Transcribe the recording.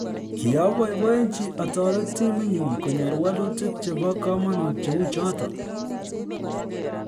"Kiaboiboiyenchi atoret timinyun konyor wolutik chebo komonut cheu choton."